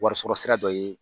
Warisɔrɔ sira dɔ ye